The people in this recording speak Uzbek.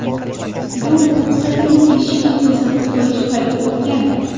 Do‘q-po‘pisa-yu, ‘eshikni ko‘rsatib qo‘yish’ payti o‘tgan.